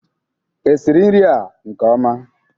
Esiri nri a nke ọma?